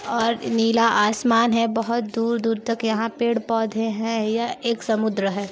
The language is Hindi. --और नीला आसमान है बहुत दूर-दूर तक यहाँ पेड़-पौधे हैं यह एक समुन्द्र है।